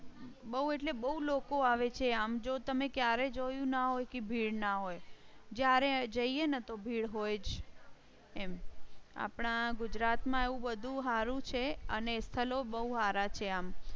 બહુ એટલે બહુ લોકો આવે છે. આમ જો તમે ક્યારેય જોયું ના હોય કે ભીડ ના હોય જ્યારે જઈએ તો ભીડ હોય જ. એમ આપણા ગુજરાતમાં એવું બધું હારું છે અને સ્થલો બહુ સારા છે. આમ